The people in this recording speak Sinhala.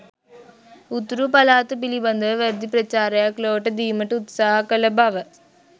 උතුරු පළාත පිළිබඳව වැරදි ප්‍රචාරයක් ලොවට දීමට උත්සාහ කළ බව